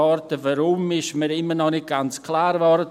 Weshalb, ist mir immer noch nicht ganz klar geworden.